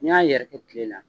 N'i y'a yɛrɛkɛ tile la